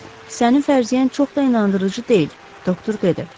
Yox, sənin fərziyyən çox da inandırıcı deyil, doktor dedi.